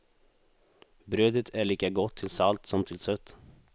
Brödet är lika gott till salt som till sött.